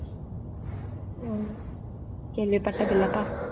ஓ கேள்விப்பட்டதில்லைப்பா